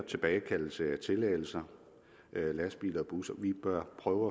tilbagekaldelse af tilladelser til lastbiler og busser vi bør prøve